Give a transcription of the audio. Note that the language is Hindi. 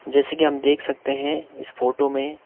जैसे कि हम देख सकते हैं इस फोटो में--